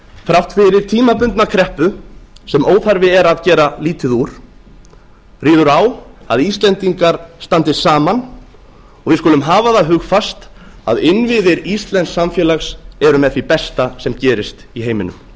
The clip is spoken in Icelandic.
þrátt fyrir tímabundna kreppu sem óþarfi er að gera lítið úr ríður á að íslendingar standi saman og við skulum hafa það hugfast að innviðir íslensks samfélags eru með því besta sem gerist í heiminum